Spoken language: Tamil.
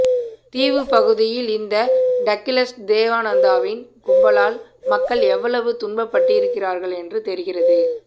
தீவுப்பகுதியில் இந்த டக்கிளஸ் தேவானந்தவின் கும்பலால் மக்கள் எவ்வளவு துன்பப்பட்டிருப்பார்களென்று தெரிகிறது